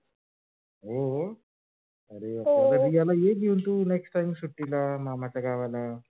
हो रिया ला ये घेऊन. next time सुट्टीला मामाच्या गावाला हो.